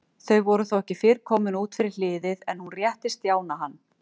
Þau voru þó ekki fyrr komin út fyrir hliðið en hún rétti Stjána hann.